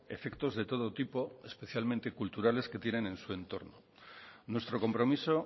efectos de todo tipo especialmente culturales que tienen en su entorno nuestro compromiso